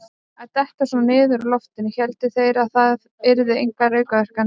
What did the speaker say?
Að detta svona niður úr loftinu: héldu þeir það yrðu engar aukaverkanir?